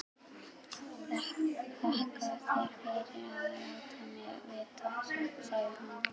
Þakka þér fyrir að láta mig vita, sagði hún.